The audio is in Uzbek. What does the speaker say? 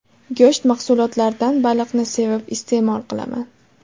Go‘sht mahsulotlaridan baliqni sevib iste’mol qilaman.